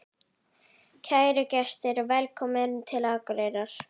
Kæru gestir! Velkomnir til Akureyrar.